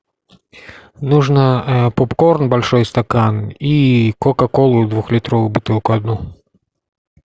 нужно попкорн большой стакан и кока колу двухлитровую бутылку одну